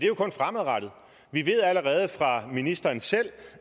jo kun fremadrettet vi ved allerede fra ministeren selv